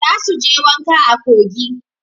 Za su je wanka a kogi.